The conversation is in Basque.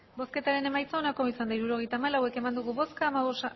hirurogeita hamalau eman dugu bozka